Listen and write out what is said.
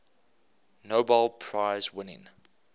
nobel prize winning